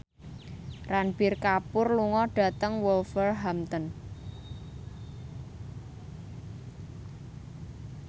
Ranbir Kapoor lunga dhateng Wolverhampton